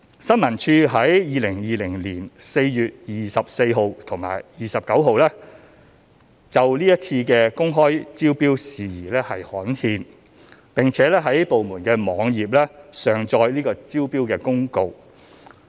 新聞處於2020年4月24日及29日就是次公開招標事宜刊憲，並在部門網頁上載招標公告。